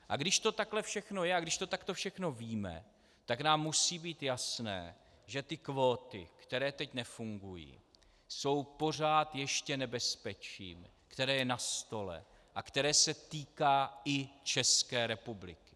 A když to takhle všechno je a když to takto všechno víme, tak nám musí být jasné, že ty kvóty, které teď nefungují, jsou pořád ještě nebezpečím, které je na stole a které se týká i České republiky.